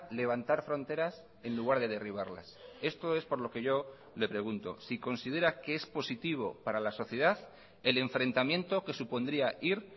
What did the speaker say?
levantar fronteras en lugar de derribarlas esto es por lo que yo le pregunto si considera que es positivo para la sociedad el enfrentamiento que supondría ir